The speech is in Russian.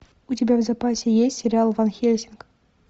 у тебя в запасе есть сериал ван хельсинг